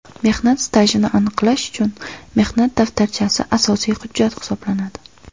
Mehnat stajini aniqlash uchun mehnat daftarchasi asosiy hujjat hisoblanadi.